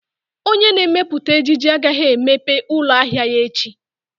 Onye na-emepụta ejiji agaghị emepe ụlọ ahịa ya echi